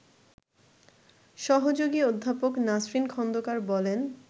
সহযোগী অধ্যাপক নাসরিন খন্দকার বলেন